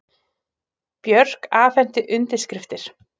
Björk afhenti undirskriftir